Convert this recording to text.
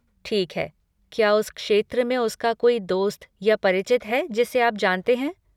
ठीक है, क्या उस क्षेत्र में उसका कोई दोस्त या परिचित है जिसे आप जानते हैं?